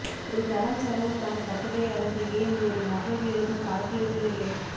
ஒரு தளம் செலவுக்கான கட்டுரை அல்லது ஏன் ஒரு நகல் எழுதும் கால்குலேட்டர் இல்லை